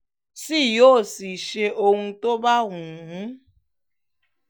sì yóò sì ṣe ohun tó bá wù ú